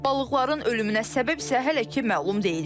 Balıqların ölümünə səbəb isə hələ ki məlum deyil.